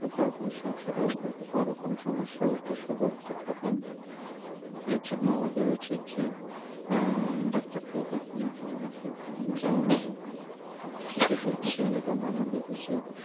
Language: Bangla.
বড় বড় সমস্যাটা হয়তো এটা বড় কোন সমস্যার উপসর্গ হতে পারে এর জন্য আমাদের উচিত যে আহ ডাক্তারকে দেখানো বা কনো কেউ কোন জানানো যে কি হচ্ছে এবং আমাদেরকে সেই